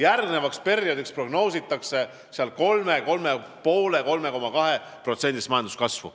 Järgnevaks perioodiks prognoositakse 3%-list, 3,5%-list või 3,2%-list majanduskasvu.